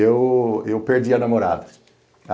E eu eu perdi a namorada.